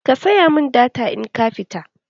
Ka saya mun data in ka fita.